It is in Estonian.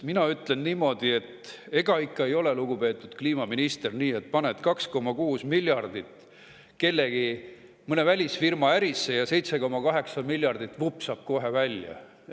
Mina ütlen niimoodi, et ega ikka ei ole, lugupeetud kliimaminister, nii, et paned 2,6 miljardit kellegi, mõne välisfirma ärisse ja 7,8 miljardit vupsab kohe välja.